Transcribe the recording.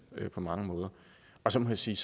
og så må jeg sige